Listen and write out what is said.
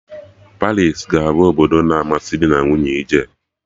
Paris ka ga-abụ obodo na amasị dị na nwunye ije